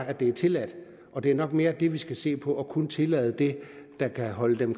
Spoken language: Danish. at det er tilladt det er nok mere det vi skal se på og kun tillade det der kan holde dem